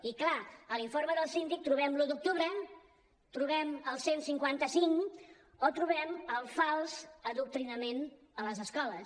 i clar a l’informe del síndic trobem l’un d’octubre trobem el cent i cinquanta cinc o trobem el fals adoctrinament a les escoles